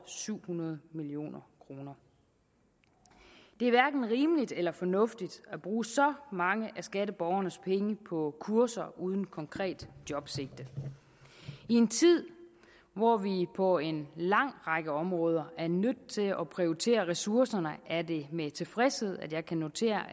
syv hundrede million kroner det er hverken rimeligt eller fornuftigt at bruge så mange af skatteborgernes penge på kurser uden konkret jobsigte i en tid hvor vi på en lang række områder er nødt til at prioritere ressourcerne er det med tilfredshed at jeg kan notere